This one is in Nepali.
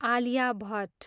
आलिया भट्ट